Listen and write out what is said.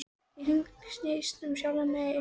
Ég hringsnýst um sjálfa mig en sé engan.